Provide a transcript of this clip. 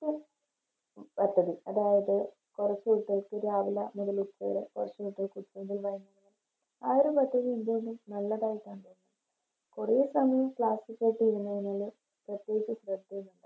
പദ്ദതി അതായത് കൊറച്ച് രാവില മുതലിപ്പോള് ആ ഒരു Message ഇന്ത്യയില് നല്ലതായിട്ട തോന്നിയത് കൊറേ സമയം Class കേട്ട് ഇരുന്നതിലും പ്രത്യേകിച്ച് ശ്രദ്ധയായൊന്നുണ്ടാവൂല